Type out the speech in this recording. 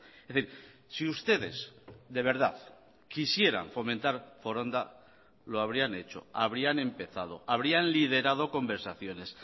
es decir si ustedes de verdad quisieran fomentar foronda lo habrían hecho habrían empezado habrían liderado conversaciones